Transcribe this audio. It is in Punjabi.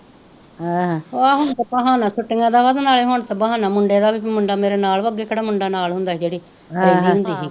ਅਹਹ ਹੁਣ ਤੇ ਬਹਾਨਾ ਛੁੱਟਿਆ ਦਾ ਨਾਂਲੈ ਹੁਣ ਤੇ ਬਹਾਨਾ ਮੁਂਡੇ ਦਾ ਭਈ ਮੁੰਡਾ ਮੇਰੇ ਨਾਲ ਵਾਂ ਅੱਗੇ ਕਿਹੜਾ ਮੁੰਡਾ ਨਾਲ ਹੁੰਦਾ ਹੀ ਜੇੜੀ ਰਹਿੰਦੀ ਹੁੰਦੀ ਹੀ,